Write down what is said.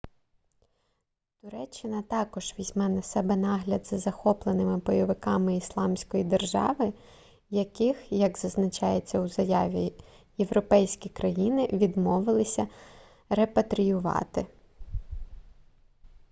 туреччина також візьме на себе нагляд за захопленими бойовиками ісламської держави яких як зазначається у заяві європейські країни відмовилися репатріювати